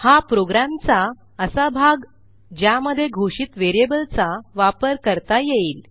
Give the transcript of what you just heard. हा प्रोग्रॅमचा असा भाग ज्यामध्ये घोषित व्हेरिएबलचा वापर करता येईल